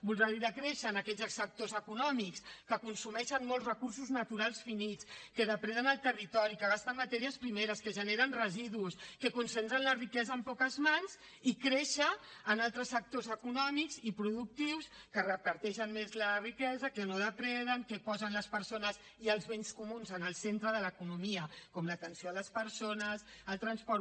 voldrà dir decréixer en aquells sectors econòmics que consumeixen molts recursos naturals finits que depreden el territori que gasten matèries primeres que generen residus que concentren la riquesa en poques mans i créixer en altres sectors econòmics i productius que reparteixen més la riquesa que no depreden que posen les persones i els béns comuns en el centre de l’economia com l’atenció a les persones el transport